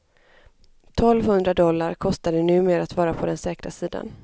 Tolvhundra dollar kostar det numer att vara på den säkra sidan.